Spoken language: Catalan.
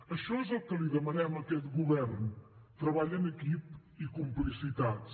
això és el que li demanem a aquest govern treball en equip i complicitats